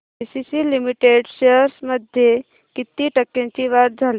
ACC limited shares मध्ये किती टक्क्यांची वाढ झाली